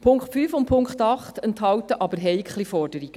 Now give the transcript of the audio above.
Die Punkte 5 und 8 enthalten aber heikle Forderungen.